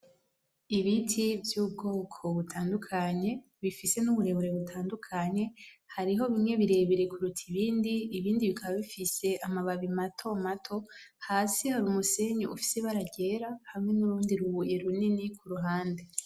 Ibiti vyubwoko butandukanye bifise nuburebure butandukanye hariho bimwe birebire kuruta ibindi ,ibindi bikaba bifise amababi matomato hasi hari umusenyi ufise ibara ryera hamwe nurundi rubuye runini kuruhande .